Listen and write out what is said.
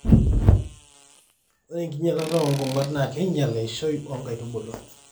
ore enkinyialata oo nkong'at naa keinyial eishoi o nkaitubulu